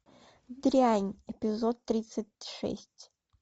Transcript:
дрянь эпизод тридцать шесть